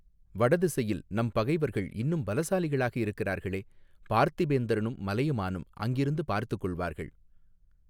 வடதிசையில் நம் பகைவர்கள் இன்னும் பலசாலிகளாக இருக்கிறார்களே பார்த்திபேந்திரனும் மலையமானும் அங்கிருந்து பார்த்துக் கொள்வார்கள்.